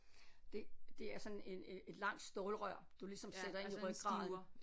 Det det er sådan en en et langt stålrør du ligesom sætter ind i rygraden